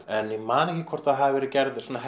en ég man ekki hvort hafi verið gerð svona